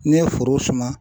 N'i ye foro suma